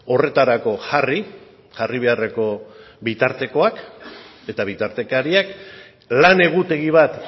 horretarako jarri jarri beharreko bitartekoak eta bitartekariak lan egutegi bat